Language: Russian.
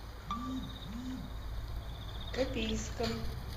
копейском